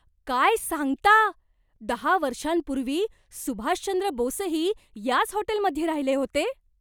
काय सांगता! दहा वर्षांपूर्वी सुभाषचंद्र बोसही याच हॉटेलमध्ये राहिले होते?